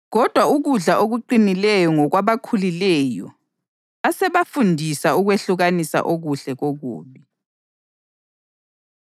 Kodwa ukudla okuqinileyo ngokwabakhulileyo asebazifundisa ukwehlukanisa okuhle kokubi.